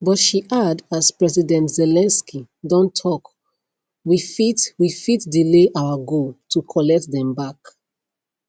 but she add as president zelensky don tok we fit we fit delay our goal to collect dem back